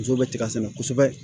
Muso bɛ tiga sɛnɛ kosɛbɛ